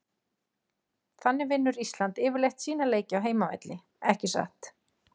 Þannig vinnur Ísland yfirleitt sína leiki á heimavelli ekki satt?